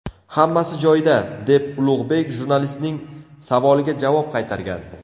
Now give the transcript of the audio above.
Hammasi joyida”, deb Ulug‘bek jurnalistning savoliga javob qaytargan.